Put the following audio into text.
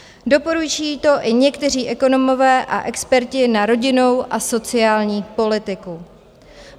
Doporučují to i někteří ekonomové a experti na rodinnou a sociální politiku.